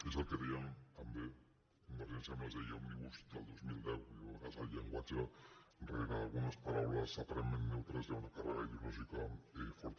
és el que deia també convergència amb les lleis òmnibus del dos mil deu vull dir a vegades el llen·guatge rere algunes paraules aparentment neutres hi ha una càrrega ideològica forta